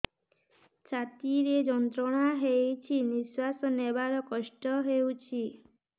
ଛାତି ରେ ଯନ୍ତ୍ରଣା ହେଉଛି ନିଶ୍ଵାସ ନେବାର କଷ୍ଟ ହେଉଛି